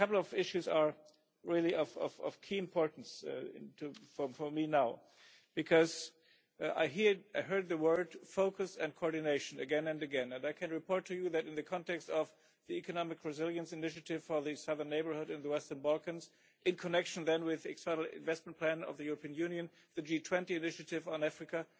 I think a couple of issues are really of key importance for me now, because I heard the words focus' and coordination' again and again, and I can report to you that in the context of the economic resilience initiative for the Southern Neighbourhood and the Western Balkans, in connection then with the external investment plan of the European Union, and the G20 initiative on Africa,